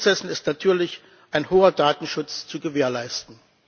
Bei allen Prozessen ist natürlich ein hoher Datenschutz zu gewährleisten.